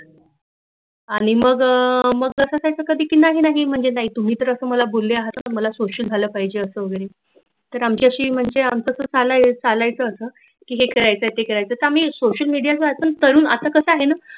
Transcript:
आणि मग जस काय तर केल नाही म्हंजे नाही तुम्ही तरअस मला बोल्ले आहात की मला सोशल झाल पाहिजे असं वगैरे आमच्याशी म्हणजे आमच कस ना चालायचंच असं की हे करायचंय ते करायचंय तर आम्ही सोशल मिडिया चा असं करुन तर असं कसं आहे न